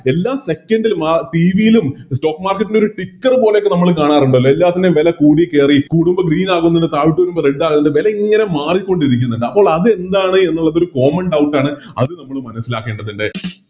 എല്ലാ Second ല് TV ലും Stock market ൻറെ ഒരു Sticker പോലെക്കെ നമ്മള് കാണാറുണ്ടല്ലോ എല്ലത്തിൻറെ വെല കൂടിക്കേറി കൂടുമ്പോ Green ആവുന്നതും താഴോട്ട് പോകുമ്പോ Red ആകുന്നുണ്ട് വേലായിങ്ങനെ മാറിക്കൊണ്ടിരിക്കുന്നുണ്ടിരിക്കുന്നിണ്ട് അപ്പോളതെന്താണ് എന്നുള്ളതൊരു Common doubt അത് നമ്മള് മനസ്സിലാക്കേണ്ടതുണ്ട്